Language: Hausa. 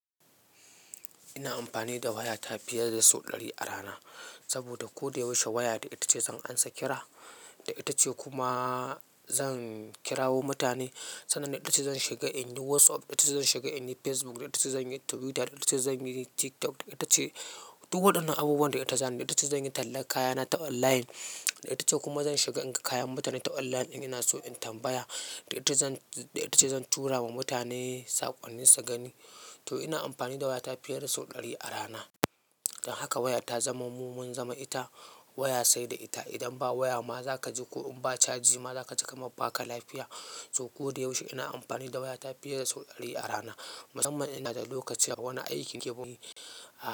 Ina amfani da wayata fiye da sau ɗari a rana saboda ko da yaushe waya ita ce zan ansa kira, ita ce kuma zan kira mutane. Sannan ita ce zan shiga in yi WhatsApp, ita ce zan shiga in yi Facebook, ita ce zan yi Twitter, ita ce zan yi TikTok. Ita ce duk waɗannan abubuwan da ita zana yi. Ita ce zan yi tallan kayana ta online, ita ce kuma zan shiga in ga kayan mutane ta online in ina so in tambaya. Ita ita ce zan tura wa mutane saƙonni su gani. To ina amfani da wayata fiye da sau ɗari a rana. Don haka waya ta zamo mu, mu mun zamo ita waya sai da ita. Idan ba waya ma za ka ji, ko in ba caji ma za ka ji kamar baka lafiya. To ko da yaushe ina amfani da wayata fiye da sau ɗari a rana, musamman ina da lokaci a wani aikin keɓe wani a.